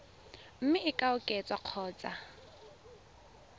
mme e ka oketswa kgotsa